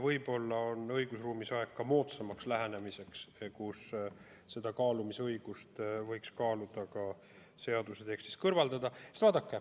Võib-olla on õigusruumis käes aeg moodsamaks lähenemiseks ning võiks kaaluda selle kaalumisõiguse seaduse tekstist kõrvaldamist.